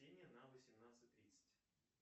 на восемнадцать тридцать